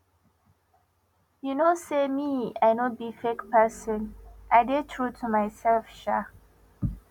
you know say me i no be fake person i dey true to myself um